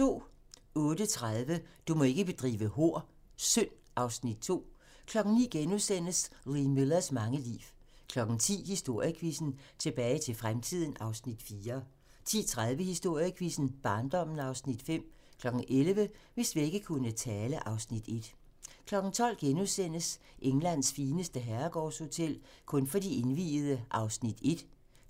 08:30: Du må ikke bedrive hor - Synd (Afs. 2) 09:00: Lee Millers mange liv * 10:00: Historiequizzen: Tilbage til fremtiden (Afs. 4) 10:30: Historiequizzen: Barndommen (Afs. 5) 11:00: Hvis vægge kunne tale (Afs. 1) 12:00: Englands fineste herregårdshotel - kun for de indviede (1:4)*